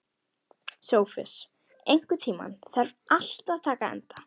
Sophus, einhvern tímann þarf allt að taka enda.